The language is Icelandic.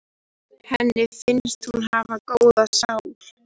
Henni finnst hún hafa góða sál.